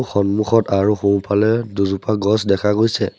সন্মুখত আৰু সোঁফালে দুজোপা গছ দেখা গৈছে।